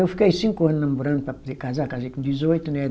Eu fiquei cinco anos namorando para poder casar, casei com dezoito, né?